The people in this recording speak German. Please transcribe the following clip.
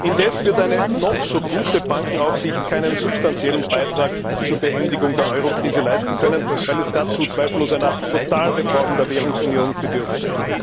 Indes wird eine noch so gute Bankenaufsicht keinen substanziellen Beitrag zur Beendigung der Eurokrise leisten können, weil es dazu zweifellos einer Totalreform der Währungsunion bedürfte.